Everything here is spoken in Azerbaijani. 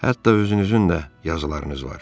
Hətta özünüzün də yazılarınız var.